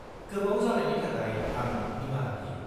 -गोबाव जानायनि थाखाय आं निमाहा बियो।